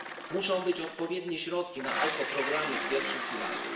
Muszą być odpowiednie środki na ekoprogramy w pierwszym filarze.